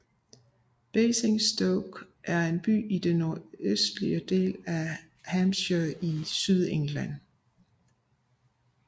Basingstoke er en by i den nordøstlige del af Hampshire i Sydengland